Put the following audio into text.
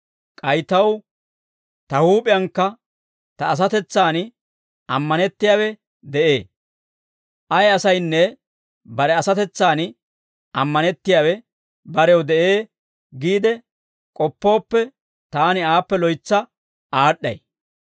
K'ay taw ta huup'iyankka ta asatetsan ammanettiyaawe de'ee. Ay asaynne bare asatetsan ammanettiyaawe barew de'ee giide k'oppooppe, taani aappe loytsa aad'd'ay.